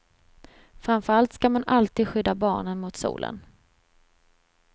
Framför allt ska man alltid skydda barnen mot solen.